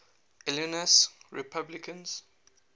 illinois republicans